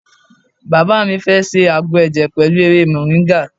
Bàbá mi fẹ́ ṣe àgbo ẹ̀jẹ̀ pẹ̀lú ewé moringa.